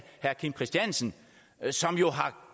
kim christiansen som jo har